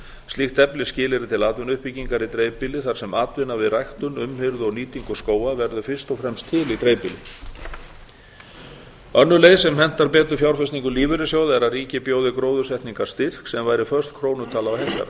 slíkt eflir skilyrði til atvinnuuppbyggingar í dreifbýli þar sem atvinna við ræktun umhirðu og nýtingu skóga verður fyrst og fremst til í dreifbýli önnur leið sem hentar betur fjárfestingu lífeyrissjóða er að ríkið bjóði gróðursetningarstyrk sem væri föst krónutala